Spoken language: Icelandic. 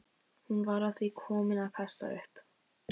Hún var að því komin að kasta upp.